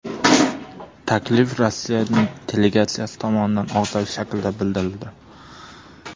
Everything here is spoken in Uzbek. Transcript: Taklif Rossiya delegatsiyasi tomonidan og‘zaki shaklda bildirildi.